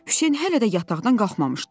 Hüseyn hələ də yataqdan qalxmamışdı.